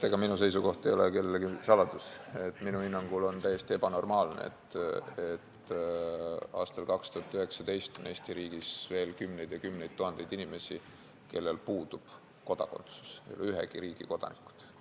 Ega minu seisukoht ei ole iseenesest kellelegi saladus: minu hinnangul on täiesti ebanormaalne, et aastal 2019 on Eesti riigis veel kümneid ja kümneid tuhandeid inimesi, kellel puudub kodakondsus, kes ei ole ühegi riigi kodanikud.